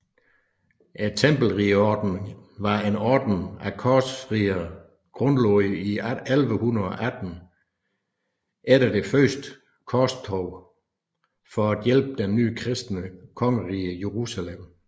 Tempelridderordenen var en orden af korsriddere grundlagt 1118 efter det første korstog for at hjælpe det nye kristne kongerige Jerusalem